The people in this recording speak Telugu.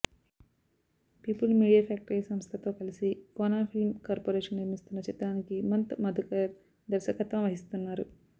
పీపుల్ మీడియా ఫ్యాక్టరీ సంస్థతో కలిసి కోన ఫిల్మ్ కార్పొరేషన్ నిర్మిస్తోన్న చిత్రానికి మంత్ మధుకర్ దర్శకత్వం వహిస్తున్నారు